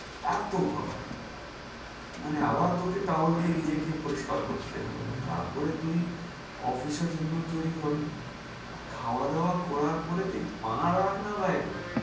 এত গরম, মানে আবার তোকে towel দিয়ে পরিষ্কার করতে হবে তার পরে তুই office এর জন্য তৈরি হবে। আর খাওয়া দাওয়া করার পরে তুই পা রাখনা বাইরে।